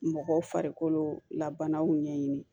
Mɔgɔw farikolo la banaw ɲɛɲini